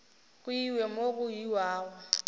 go iwe mo go iwago